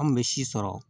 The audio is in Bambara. An kun bɛ si sɔrɔ